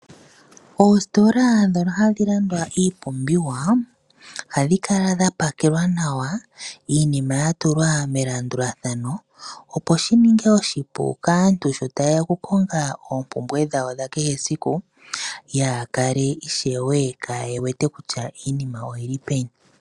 Oositola ndhono hadhi landwa iipumbiwa oha dhi kala dha pakelwa nawa iinima ya tulwa melandulathano opo shininge oshipu kaantu sho ta yeya okukonga oompumbwe dhawo dha kehesiku yaakale ishewe kaaye wete kutya iinima oyili peni.